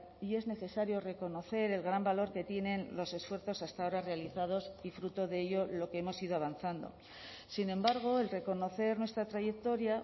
y es necesario reconocer el gran valor que tienen los esfuerzos hasta ahora realizados y fruto de ello lo que hemos ido avanzando sin embargo el reconocer nuestra trayectoria